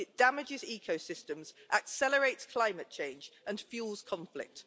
It damages ecosystems, accelerates climate change and fuels conflict.